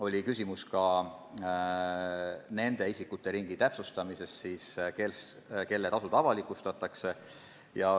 Oli küsimus nende isikute ringi kohta, kelle tasud avalikustatakse.